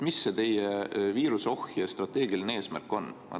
Mis see teie viiruseohje strateegiline eesmärk on?